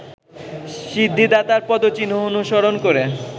সিদ্ধিদাতার পদচিহ্ন অনুসরণ করে